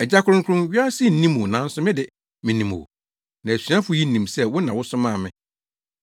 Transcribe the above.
“Agya Kronkron, wiase nnim wo nanso me de, minim wo; na asuafo yi nim sɛ wo na wosomaa me.